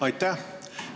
Aitäh!